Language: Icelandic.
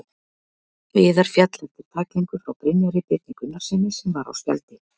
Viðar féll eftir tæklingu frá Brynjari Birni Gunnarssyni sem var á spjaldi.